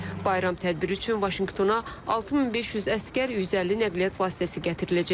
Bayram tədbiri üçün Vaşinqtona 6500 əsgər, 150 nəqliyyat vasitəsi gətiriləcək.